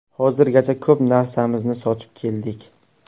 Hozirgacha ko‘p narsamizni sotib keldik.